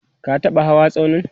ka taɓa hawa tsaunin?